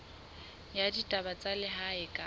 ya ditaba tsa lehae kapa